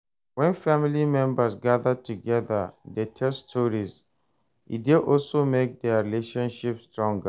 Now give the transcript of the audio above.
When family members gather together de tell stories, e de also make their relationship strong